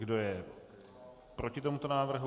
Kdo je proti tomuto návrhu?